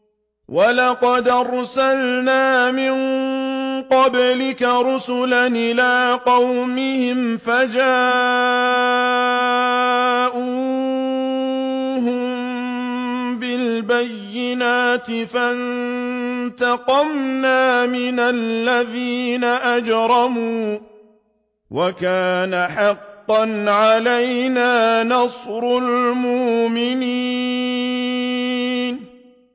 وَلَقَدْ أَرْسَلْنَا مِن قَبْلِكَ رُسُلًا إِلَىٰ قَوْمِهِمْ فَجَاءُوهُم بِالْبَيِّنَاتِ فَانتَقَمْنَا مِنَ الَّذِينَ أَجْرَمُوا ۖ وَكَانَ حَقًّا عَلَيْنَا نَصْرُ الْمُؤْمِنِينَ